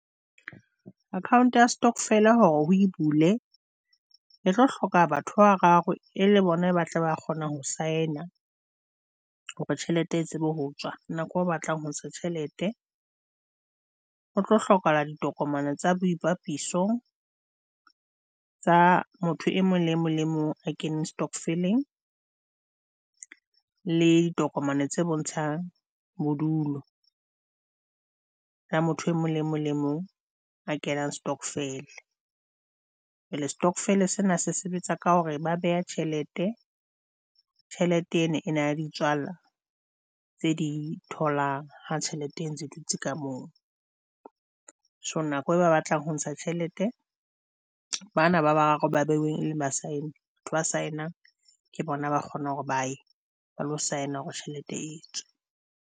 Account ya stokvel hore ho e bule e tlo hloka batho ba bararo e le bona batle ba kgona ho saena hore tjhelete e tsebe ho tswa nako o batlang ho ntsha tjhelete. Ho tlo hlokahala ditokomane tsa boipapiso, tsa motho e mong le mong le mong a keneng Stokvel-ing, le ditokomane tse bontshang bodulo la motho e mong le mong le mong kena stokvel. And-e stockvel sena se sebetsa ka hore ba beha tjhelete. Tjhelete eno e na le ditswala tse di tholang ha tjhelete e ntse dutse ka moo, so nako e ba batlang ho ntsha tjhelete bana ba bararo ba behuweng, e leng ba saene ba saenang, ke bona ba kgona hore baye ba lo saena hore tjhelete e tswe.